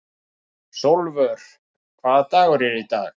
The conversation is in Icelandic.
Sólvör, hvaða dagur er í dag?